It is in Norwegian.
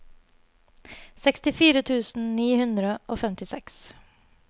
sekstifire tusen ni hundre og femtiseks